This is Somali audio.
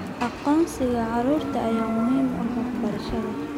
Aqoonsiga carruurta ayaa muhiim u ah waxbarashada.